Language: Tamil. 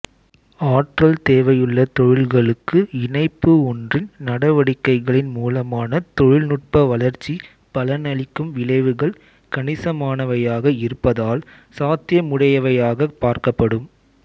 ஆற்றல்தேவையுள்ள தொழில்களுக்கு இணைப்பு ஒன்றின் நடவடிக்கைகளின் மூலமான தொழில்நுட்ப வளர்ச்சி பலனளிக்கும் விளைவுகள் கணிசமானவையாக இருப்பதால் சாத்தியமுடையவையாகப் பார்க்கப்படும்